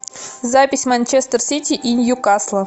запись манчестер сити и ньюкасла